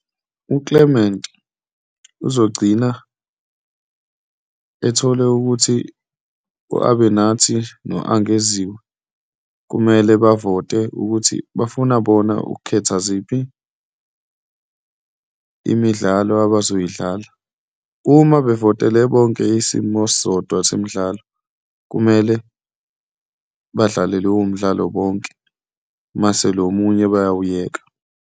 UClement uzogcina ethole ukuthi u-Abenathi no Angeziwe kumele bavote ukuthi bafuna bona ukukhetha ziphi imidlalo abazoyidlala. Uma bevotele bonke isimo esisodwa semidlalo, kumele badlale lowo mdlalo bonke mase lo omunye bayawuyeka.